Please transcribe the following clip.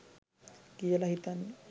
කියලා හිතන්නේ.